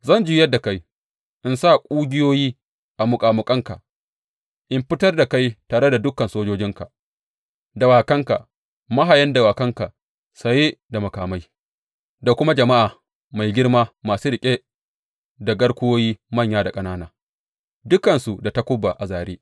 Zan juyar da kai, in sa ƙugiyoyi a muƙamuƙanka in fitar da kai tare da dukan sojojinka, dawakanka, mahayan dawakanka saye da makamai, da kuma jama’a mai girma masu riƙe da garkuwoyi manya da ƙanana, dukansu da takuba a zāre.